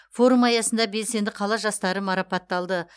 форум аясында белсенді қала жастары марапатталды